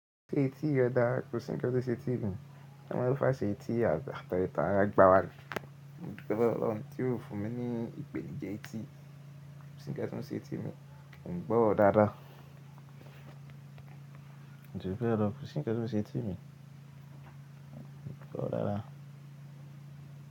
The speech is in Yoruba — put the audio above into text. Ṣé etí rẹ dára? Kò sí ńnkan to ṣe etí mi. Ọmọ ọlọ́fàá ṣe etí apeere ti ara gbá wa ni. Mo dupe lowo olohun tí ó fún mi ní ìpèníjà etí. Ko si nnkan to se eti mi, mo n gbo oro daadaa Koju bee lo, ko si nnkan to se eti mi, mo n gbo daadaa.